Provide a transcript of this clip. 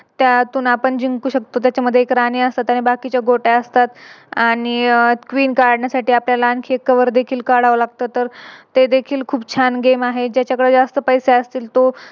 त्यातून आपण जिंकू शकतो. त्याच्यामध्ये राणी असतात आणि बाकीच्या गोट्या असतात. अह आणि Queen काढण्यासाठी आपल्याला आणखी एक Cover देखील काढावं लागत तर तर देखील खूप छान Game आहे. ज्याच्याकडे जास्त पैसे असतील तो